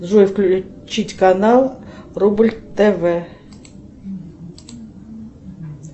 джой включить канал рубль тв